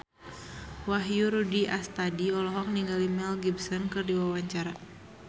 Wahyu Rudi Astadi olohok ningali Mel Gibson keur diwawancara